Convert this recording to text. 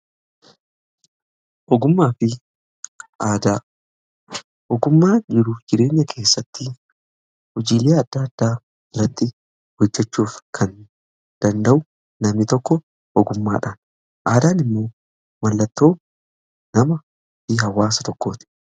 Ogummaa jiruuf jireenya keessatti hojiilee adda addaa irratti hojjechuuf kan danda'u nami tokko ogummaadhaan. Aadaan immoo mallattoo namaa fi hawaasa tokkooti.